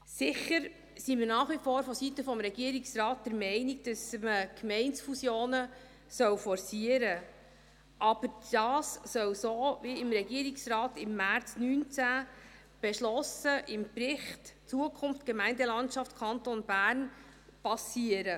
Sicher sind wir vonseiten des Regierungsrates nach wie vor der Meinung, dass man Gemeindefusionen forcieren soll, aber dies soll so geschehen wie vom Regierungsrat im März 2019 im Bericht «Zukunft Gemeindelandschaft Kanton Bern» beschlossen.